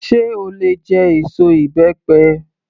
Sé o lè jẹ èso ìbẹ́pẹ?